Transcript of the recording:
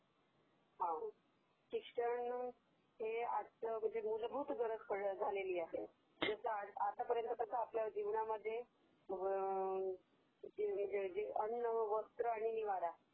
हा ...शिक्षण ही मुलभूत गरज झालेली आहे, आतापर्यंत कसं आपल्या जीवनामध्ये अम्म्म..........अन्न, वस्त्र आणि निवारा